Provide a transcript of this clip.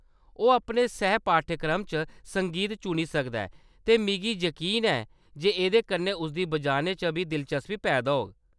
ओह्‌‌ अपने सैह्-पाठ्यक्रम च संगीत चुनी सकदा ऐ, ते मिगी यकीन ऐ जे एह्‌‌‌दे कन्नै उसदी बजाने च बी दिलचस्पी पैदा होग।